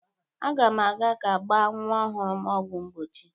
Aga m aga ka agba nwa ọhụrụ m ọgwụ mgbochi.